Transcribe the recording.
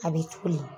A bɛ toli